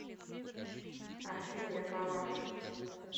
афина я права